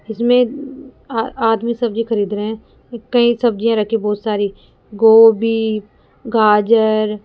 इसमें आ आदमी सब्जी खरीद रहे हैं कई सब्जियां रखी हैं बहुत सारी गोभी गाजर --